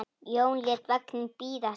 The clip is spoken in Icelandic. Jón lét vagninn bíða sín.